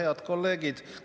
Head kolleegid!